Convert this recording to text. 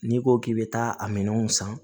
N'i ko k'i bɛ taa a minɛnw san